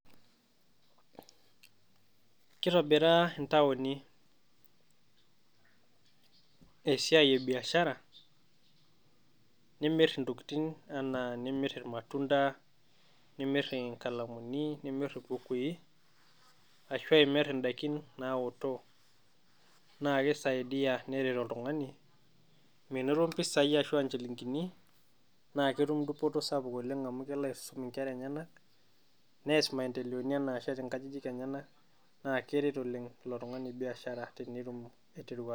Kitobiraa intaoni esiai e biashara nimirr intokitin enaa nimirr irmatunda, nimirr inkalamuni, nimirr imbukui ashu imirr indaiki naoto, naa kisaidia neret oltung'ani menoto impisai ashu inchilingini naa ketum dupoto sapuk oleng' amu kelo aisum inkerra eny'enak nees imaendeleoni enaa ashet inkajijik eny'enak. Naa keret oleng' ilo tung'ani biashara tenetum aiteru.